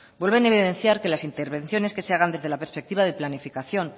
vuelven a evidenciar que las intervenciones que se hagan desde la perspectiva de planificación